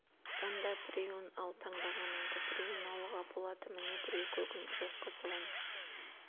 онда біреуін ал таңдағаныңды біреуін алуға болады міне біреу көгін жоқ қызылын